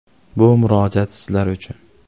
Bu murojaat sizlar uchun.